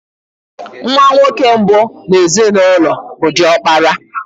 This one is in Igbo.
Nwa nwoke mbụ n'ezinụlọ bụ diokpara.